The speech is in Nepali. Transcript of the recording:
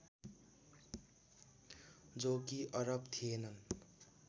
जो कि अरब थिएनन्